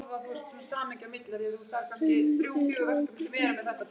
Henning, er opið í Kjötborg?